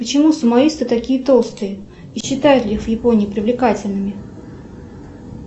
почему сумоисты такие толстые и считают ли их в японии привлекательными